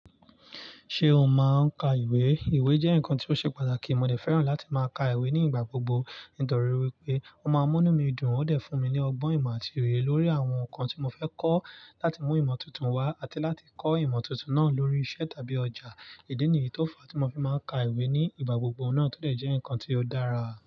Ṣé o máa ń ka ìwé? Ìwé jẹ́ nǹkan tí ó ṣe pàtàkì, mo dẹ̀ fẹ́ràn láti máa ka ìwé ní ìgbà gbogbo. Nítorí wípé, ó máa ń mú mí dùn, ó dẹ̀ fún mi ní ọgbọ́n ìmọ̀ àti oye lórí àwọn nǹkan tí mo fẹ́ kọ́ láti mú ìmọ̀ tuntun wá àti láti kọ́ ìmọ̀ tuntun náà lórí iṣẹ́ tàbí ọjà. Ìdí nìyí tó fa tí mo fi máa ń ka ìwé ní ìgbà gbogbo náà tò lè jẹ́ nǹkan tí ó dára.